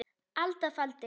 alda faldi